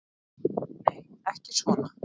Nei, ekki svo.